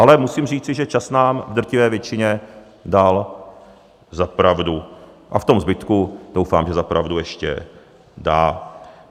Ale musím říci, že čas nám v drtivé většině dal za pravdu a v tom zbytku doufám, že za pravdu ještě dá.